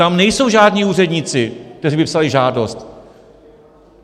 Tam nejsou žádní úředníci, kteří by psali žádost.